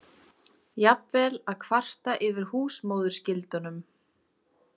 Jafnvel að kvarta yfir húsmóðurskyldunum.